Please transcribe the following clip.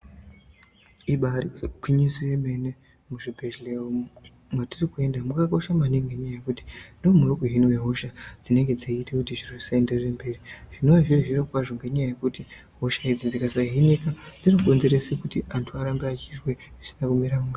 Ibari gwinyiso yemene muzvibhedhleya umu matirikuenda mwakakosha maningi ngenyaya yekuti ndimo muri kuhinwe hosha dzinoite kuti zviro zvisaenderere mberi. Zvinova zviri zviro kwazvo ngenyaya yekuti hosha idzi dzikasahinika zvinokonzerese kuti antu arambe achizwe zvisina kumira mushe.